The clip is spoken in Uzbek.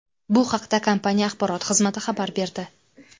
Bu haqda kompaniya axborot xizmati xabar berdi .